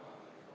Läheme edasi.